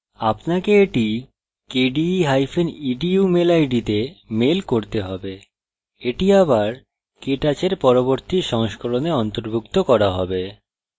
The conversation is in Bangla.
আপনাকে এটি kdeedu mail আইডি তে mail করতে have এটি আবার কেটচ এর পরবর্তী সংস্করণে অন্তর্ভুক্ত করা have